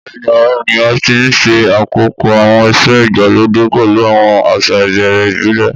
Bẹ́ẹ̀ni, àwọn ènìyàn ti ń ṣe àpòpọ̀ àwọn ìṣe ìgbàlódé pẹ̀lú àwọn àṣà ìbẹ̀rẹ̀ ìbílẹ̀.